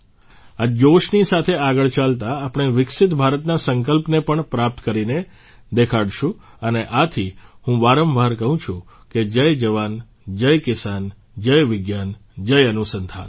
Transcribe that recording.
આ જોશની સાથે આગળ ચાલતા આપણે વિકસિત ભારતના સંકલ્પને પણ પ્રાપ્ત કરીને દેખાડશું અને આથી હું વારંવાર કહું છું કે જય જવાન જય કિસાન જય વિજ્ઞાન જય અનુસંધાન